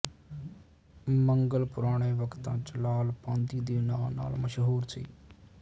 ਮੰਗਲ ਪੁਰਾਣੇ ਵਕਤਾਂ ਚ ਲਾਲ਼ ਪਾਂਧੀ ਦੇ ਨਾਂ ਨਾਲ਼ ਮਸ਼ਹੂਰ ਸੀ